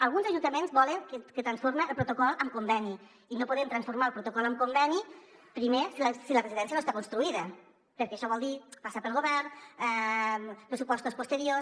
alguns ajuntaments volen que es transformi el protocol en conveni i no podem transformar el protocol en conveni primer si la residència no està construïda perquè això vol dir passar pel govern pressupos·tos posteriors